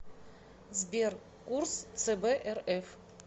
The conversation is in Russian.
сбер курс цб рф